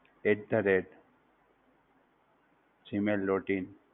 At the rate Gmail dot in